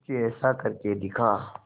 कुछ ऐसा करके दिखा